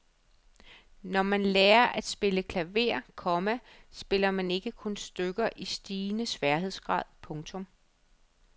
Når man lærer at spille klaver, komma spiller man ikke kun stykker i stigende sværhedsgrad. punktum